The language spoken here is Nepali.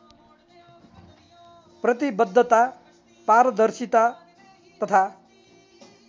प्रतिवद्धता पारदर्शिता तथा